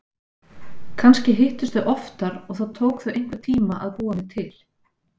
Kannski hittust þau oftar og það tók þau einhvern tíma að búa mig til.